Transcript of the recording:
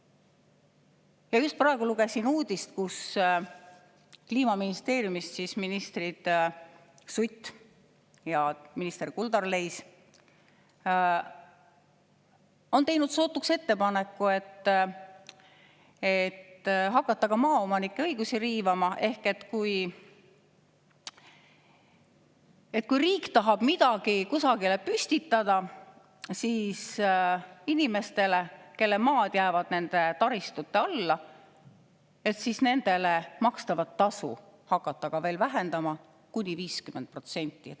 Ja just praegu lugesin uudist, et Kliimaministeeriumi ministrid Sutt ja Kuldar Leis on teinud sootuks ettepaneku hakata maaomanike õigusi riivama ehk hakata vähendama kuni 50% inimestele makstavat tasu, kui riik tahab midagi kusagile püstitada ja nende maad jäävad selle taristu alla.